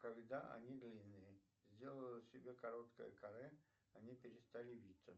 когда они длинные сделаю себе короткое каре они перестали виться